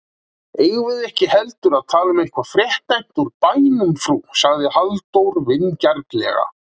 Eigum við ekki heldur að tala um eitthvað fréttnæmt úr bænum frú? sagði Halldór vingjarnlega.